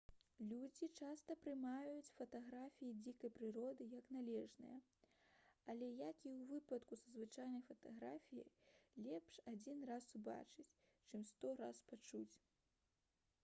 людзі часта прымаюць фатаграфіі дзікай прыроды як належнае але як і ў выпадку са звычайнай фатаграфіяй лепш адзін раз убачыць чым сто раз пачуць